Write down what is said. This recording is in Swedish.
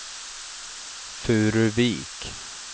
Furuvik